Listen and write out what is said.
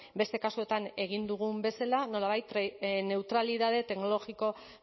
beste kasuetan egin dugun bezala nolabait neutralitate teknologiko